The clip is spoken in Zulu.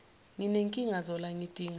nginenkinga zola ngidinga